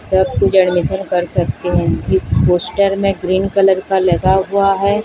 सब कुछ ऍडमिशन कर सकती हूं। इस पोस्टर में ग्रीन कलर का लगा हुआ है।